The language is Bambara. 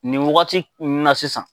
Nin wagati na sisan.